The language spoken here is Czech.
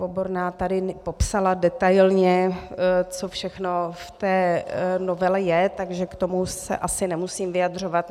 Oborná tady popsala detailně, co všechno v té novele je, takže k tomu se asi nemusím vyjadřovat.